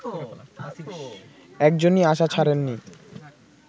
একজনই আশা ছাড়েন নি